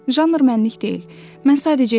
Janr mənlik deyil, mən sadəcə yazıram.